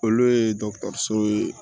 Olu ye so ye